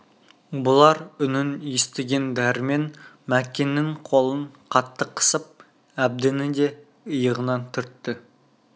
бұлар үнін естіген дәрмен мәкеннің қолын қатты қысып әбдіні де иығынан түртті